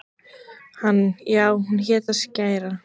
Hann: Já, og hún hét Skrækja.